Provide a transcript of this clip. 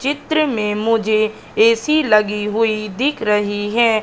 चित्र में मुझे ए_सी लगी हुई दिख रही है।